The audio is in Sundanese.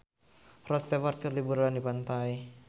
Rod Stewart keur liburan di pantai